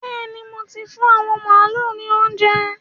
Bẹ́ẹ̀ni, mo ti fún àwọn màálu ní óuńjẹ.